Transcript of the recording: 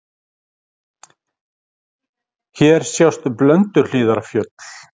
Hér sjást Blönduhlíðarfjöll.